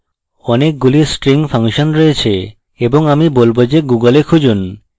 অনেকগুলি string function রয়েছে এবং আমি বলবো যে google এ খুঁজুন